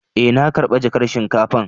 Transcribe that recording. Eh, na karba jakan shinkafan.